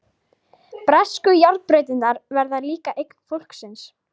Bresku járnbrautirnar verða líka eign fólksins.